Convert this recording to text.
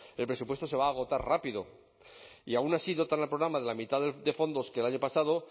el presupuesto se va a agotar rápido y aún así dotan al programa de la mitad de fondos que el año pasado